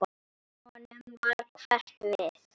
Honum varð hverft við.